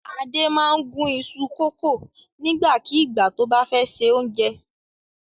Adé máa ń gún iṣu kòkó nígbàkigbà tó bá fẹ́ se oúnjẹ.